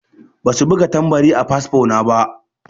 Ba su buga tambari a fasfo na ba.